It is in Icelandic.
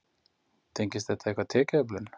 Tengist þetta eitthvað tekjuöflun?